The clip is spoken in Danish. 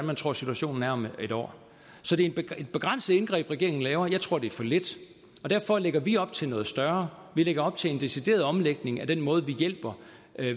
man tror situationen er om en år så det er et begrænset indgreb regeringen laver jeg tror det er for lidt derfor lægger vi op til noget større vi lægger op til en decideret omlægning af den måde vi hjælper